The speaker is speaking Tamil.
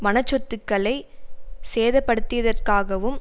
வனச்சொத்துக்களை சேதப்படுத்தியதற்காகவும்